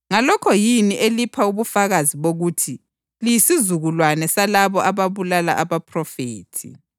Ngalokho yini elipha ubufakazi bokuthi liyisizukulwane salabo ababulala abaphrofethi.